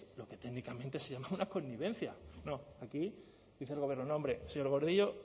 lo que técnicamente se llama una connivencia no aquí dice el gobierno no hombre señor gordillo